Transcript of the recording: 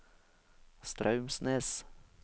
Straumsnes